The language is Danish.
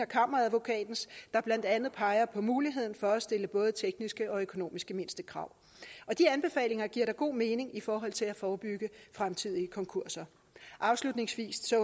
kammeradvokaten der blandt andet peger på muligheden for at stille både tekniske og økonomiske mindstekrav og de anbefalinger giver da god mening i forhold til at forebygge fremtidige konkurser afslutningsvis vil